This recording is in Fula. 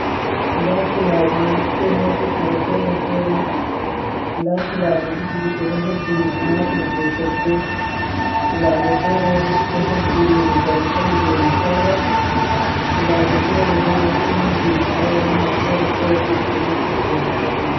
Ɗa cilaje ɗo hosi kare fere-fere. Ɗa cilaje ɗiɗi ɗe ɗo hebbini tomatru je coggo. Cilaje fere ɗo hebbini ɗankali je nasara. Cilaje fere bo ɗo hebbini kayammiya fere-fere ɗumm naftirɗe ha ɗefugo.